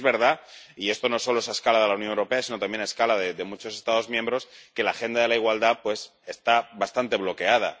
Y es verdad —y esto no solo es a escala de la Unión Europea, sino también a escala de muchos Estados miembros— que la agenda de la igualdad está bastante bloqueada.